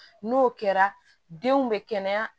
N'o kɛra denw bɛ kɛnɛya